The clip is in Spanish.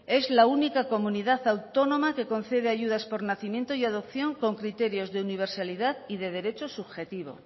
es la única comunidad autónoma que concede ayudas por nacimiento y adopción con criterios de universalidad y de derecho subjetivo